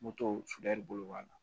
Moto sudali bolo b'a la